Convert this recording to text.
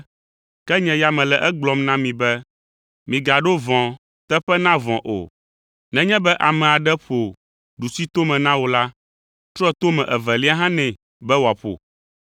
Ke nye ya mele egblɔm na mi be, migaɖo vɔ̃, teƒe na vɔ̃ o! Nenye be ame aɖe ƒo ɖusitome na wò la, trɔ tome evelia hã nɛ be wòaƒo.